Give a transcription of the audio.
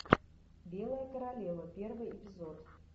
белая королева первый эпизод